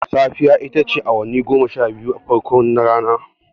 Safiya ita ce awanni goma sha biyun farko na rana.